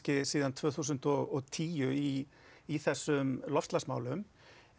síðan tvö þúsund og tíu í í þessum loftslagsmálum